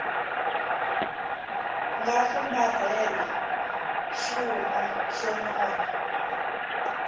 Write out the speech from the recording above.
nga fumbarhela xuma xo nona